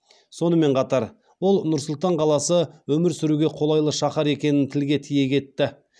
сонымен қатар ол нұр сұлтан қаласы өмір сүруге қолайлы шаһар екенін тілге тиек етті